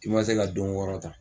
I ma se ka don wɔɔrɔ ta.